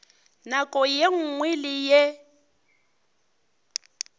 nako ye nngwe le ye